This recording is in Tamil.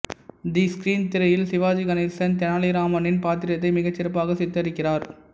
தி ஸ்கிரீன் திரையில் சிவாஜி கணேசன் தெனாலிராமனின் பாத்திரத்தை மிகச் சிறப்பாக சித்தரிக்கிறார்